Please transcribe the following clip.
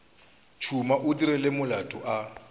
tšhuma o dirile molato a